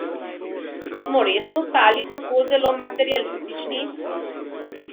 Smo res postali tako zelo materialistični?